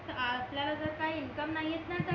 आपल्याला जर काही इनकम नाहीत ना तर